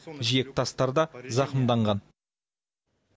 жиек тастар да зақымданған